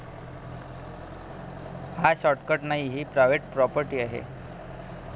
हा शॉर्टकट नाही, ही प्रायव्हेट प्रॉपर्टी आहे.